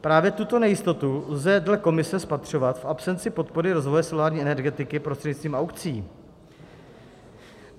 Právě tuto nejistotu lze dle komise spatřovat v absenci podpory rozvoje solární energetiky prostřednictvím aukcí.